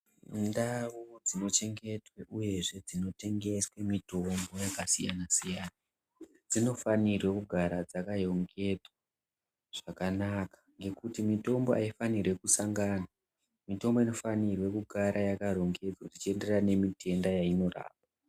Ndau dzinochengetwe uyezve dzinotengeswe mitombo yakasiyana-siyana. Dzinofanirwa kugara dzakayongedzwa zvakanaka ngekuti mitombo haifanirwi kusangana, mitombo inofanirwe kugara yakarongedzwa zvinoenderana nemitenda yainorapa.